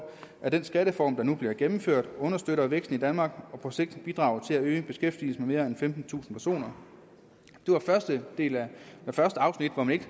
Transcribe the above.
at den skattereform der nu bliver gennemført understøtter væksten i danmark og på sigt bidrager til at øge beskæftigelsen med mere end femtentusind personer det var første afsnit hvor man ikke